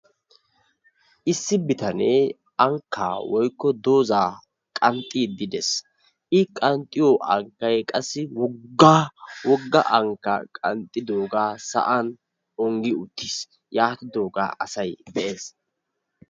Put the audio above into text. issi bitanee anmkka woykko mitaa qanxiidi des, qassi mita qanxiyo kaltay woga waga ankaa qanxxidooga asay be'ees.